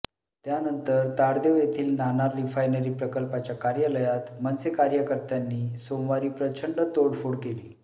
त्यानंतर ताडदेव येथील नाणार रिफायनरी प्रकल्पाच्या कार्यालयात मनसे कार्यकर्त्यांनी सोमवारी प्रचंड तोडफोड केली